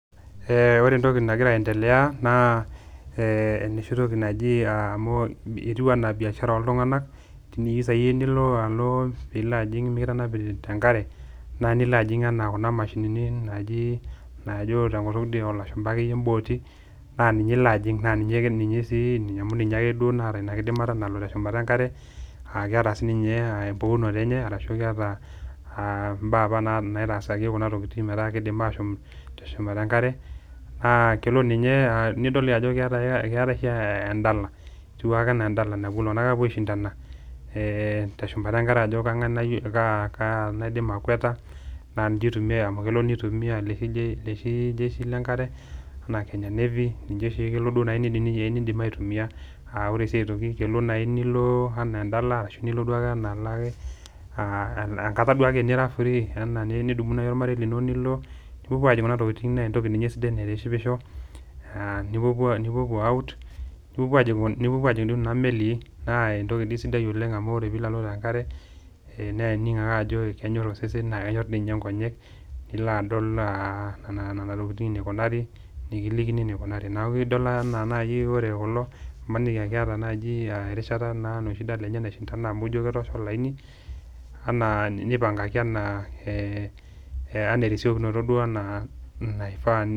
Ore entoki nagira aendelea naa enoshi toki naji amu etii anaa biashara oltunganak ,naaa teniyieu naaji nilo yie mikitanapi tenkare ,nilo ajing Kuna mashini naaji tenkutuk ilashumba imbooati, naa ninye ilo ajing amu ninye ake naata ina kidimata nalo teshumata enkare ,aa keta siininye empukunoto enye aa keta siininye mbaa naitaasaki kuna tokiting metaa keidim ashom teshumata enkare ,naa kelo ninye nidol ajo keetae oshi endala napuo ltunganak apuo aishindana teshumata enkare ajo kaa naaidim akwata ,amu ninye itumiyia loshi jeshi lenakare enaa kenya navy ninye duo oshi elo neidim aitumiyia aa ore sii aitoki kelo naaji enaa endala ,enkata naaji ake nira firii nidumunye ormarei lino ,nilo nipuopuo ajing Kuna tokiting naa entoki naitishipisho nipuopuo out nijingijingi kuna meli naa entoki dii sidai oleng amu ore pee ilo alo tekare naa ining ake ajo kenyor osesen naa kenyor dii ninye nkonyek ,nilo adol nena tokiting enikunari nikilikini enikunari ,neeku imaniki naa aa ore kulok ,.maniki aa keta naaji erishata enye naishindan amu ijo ketoosho olaini nipangaki ena erisiokinoto naifaa.